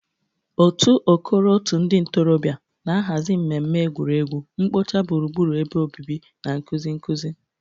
Otu "Okoro Òtù Ndị Ntorobịa" na-ahazi mmemme egwuregwu, mkpocha gburugburu ebe obibi, na nkuzi nkuzi.